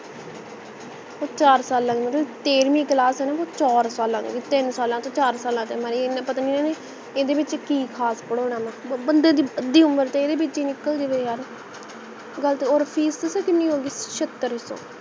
ਉਹ ਚਾਰ ਸਾਲਾਂ ਦੀ ਹੋਜੂ ਮਤਲਬ ਤੇਹਰਵੀਂ class ਹੈ ਉਹ ਚਾਰ ਸਾਲਾਂ ਦੀ ਹੋਗੀ ਤਿੰਨ ਸਾਲਾਂ ਤੋਂ ਚਾਰ ਸਾਲਾਂ ਚ ਪਤਾ ਨਹੀਂ ਇਹਨਾਂ ਨੇ ਇਹਦੇ ਵਿੱਚ ਕਿ ਖਾਸ ਪੜੋਨਾ ਹੈ ਬੰਦੇ ਦੀ ਅੱਧੀ ਉਮਰ ਤਾਂ ਇਹਦੇ ਵਿੱਚ ਹੀ ਨਿਕਲ ਜਵੇ ਯਾਰ ਗੱਲ ਤਾ ਓਰ fees ਪਤਾ ਹੈ ਕੀਨੀ ਹੋਗੀ ਛਤਰ ਸੋ